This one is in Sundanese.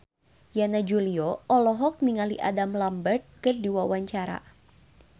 Yana Julio olohok ningali Adam Lambert keur diwawancara